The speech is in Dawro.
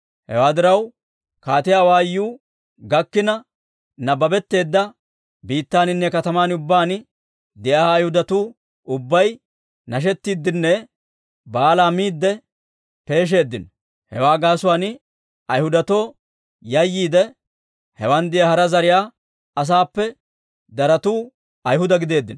Hewaa diraw, kaatiyaa awaayuu gakkina nabbabetteedda biittaaninne katamaa ubbaan de'iyaa Ayhudatuu ubbay, nashettiiddenne baalaa miidde peeshsheeddino. Hewaa gaasuwaan Ayhudatoo yayyiide, hewan de'iyaa hara zariyaa asaappe daratu Ayhuda gideeddino.